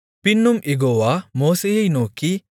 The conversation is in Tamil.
பின்னும் யெகோவா மோசேயை நோக்கி